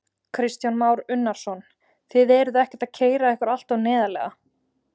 Kristján Már Unnarsson: Þið eruð ekkert að keyra ykkur alltof neðarlega?